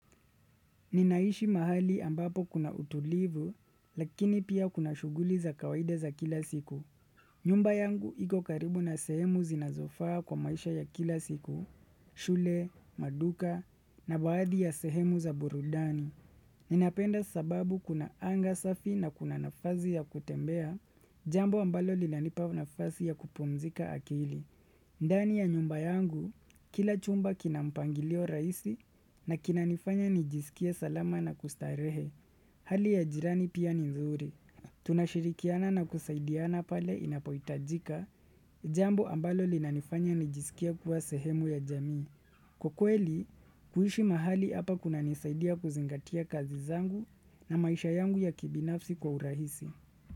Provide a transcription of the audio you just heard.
Ninaishi mahali ambapo kuna utulivu, lakini pia kuna shuguli za kawaida za kila siku. Nyumba yangu iko karibu na sehemu zinazofaa kwa maisha ya kila siku, shule, maduka, na baadhi ya sehemu za burudani. Ninapenda sababu kuna anga safi na kuna nafazi ya kutembea, jambo ambalo li lanipa nafazi ya kupumzika akili. Ndani ya nyumba yangu, kila chumba kinampangilio raisi na kinanifanya nijisikie salama na kustarehe. Hali ya jirani pia ni zuri. Tunashirikiana na kusaidiana pale inapohitajika, jambo ambalo linanifanya nijisikie kuwa sehemu ya jamii. Ukweli, kuishi mahali apa kuna nisaidia kuzingatia kazi zangu na maisha yangu ya kibinafsi kwa urahisi.